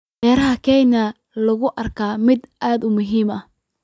Beeraha Kenya ayaa loo arkaa mid aad muhiim u ah.